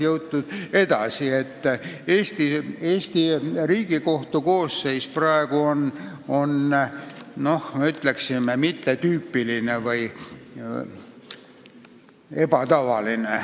Ütleksin, et Eesti Riigikohtu koosseis on praegu selles mõttes mittetüüpiline või ebatavaline.